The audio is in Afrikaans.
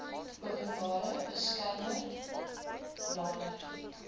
openbare beskermer nader